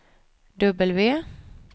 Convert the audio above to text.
W